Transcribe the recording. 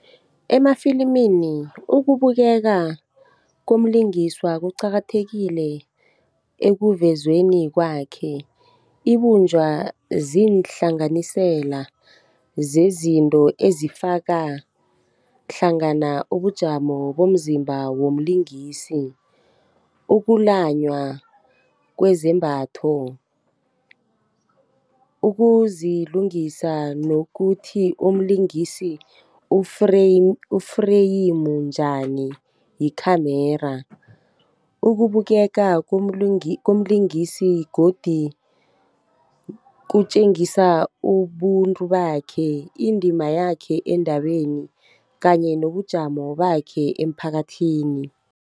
Emafilimini, ukubukeka komlingiswa kuqakathekile ekuvezweni kwakhe, ibunjwa ziinhlanganisela zezinto ezifaka hlangana ubujamo bomzimba womlingisi, ukulanywa kwezembatho, ukuzilungisa nokuthi umlingisi u-frame njani yi-camera. Ukubukeka komlingisi godi kutjengisa ubuntu bakhe, indima yakhe endabeni kanye nobujamo bakhe emphakathini.